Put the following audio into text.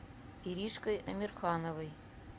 иришкой амирхановой